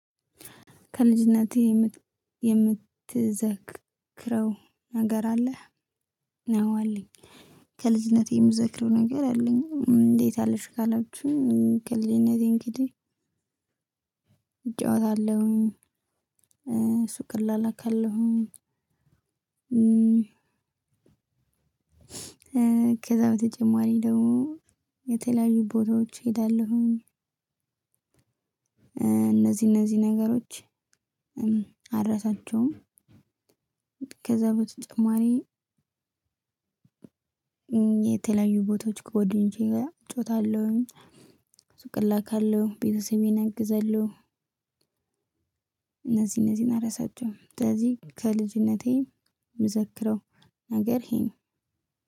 ከልጅነቴ የምትዘክረው ነገር አለህ? ነው አለኝ። ከልጅነቴ የምዘክረው ነገር አለኝ እንዴት አለሽ? ካላችሁኝ ከልጅነቴ እንግዲህ እጫወታለሁኝ ሱቅ እላላካለሁኝ። ከዛ በተጨማሪ ደግሞ የተለያዩ ቦታዎች እሄዳለሁኝ። እነዚህ እነዚህ ነገሮች አረሳቸውም። ከዛ በተጨማሪ የተለያዩ ቦታዎች ከወዲሁ እጫወታለሁ ሱቅ እላካለሁ ቤተሰቤን እግዛለሁ። እነዚህ እነዚህን አረሳቸውም እነዚህ ከልጅነቴ የምዘክረው ነገር ይሄ ነው።